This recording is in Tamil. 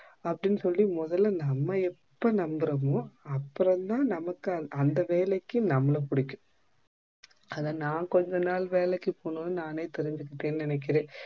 அப்படினு சொல்லி மொதெல்லா நம்ப எப்போ நம்புறமோ அப்புறம் தான் நமக்கு அந்த வேலைக்கு நம்பள புடிக்கும் அதான் நா கொஞ்ச நாளைக்கு வேலைக்கு போனும் நானே தெரிஜிக்கிட்டேன் நெனைக்குறேன்